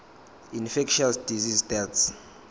infectious disease deaths